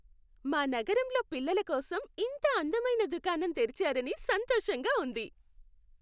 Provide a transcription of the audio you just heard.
మా నగరంలో పిల్లల కోసం ఇంత అందమైన దుకాణం తెరిచారని సంతోషంగా ఉంది.